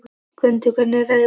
Gvöndur, hvernig er veðrið úti?